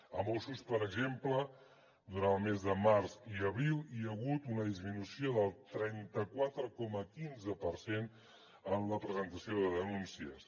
a mossos per exemple durant el mes de març i abril hi ha hagut una disminució del trenta quatre coma quinze per cent en la presentació de denúncies